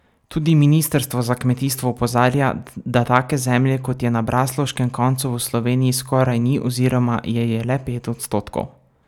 Tudi ministrstvo za kmetijstvo opozarja, da take zemlje, kot je na braslovškem koncu, v Sloveniji skoraj ni oziroma je je le pet odstotkov.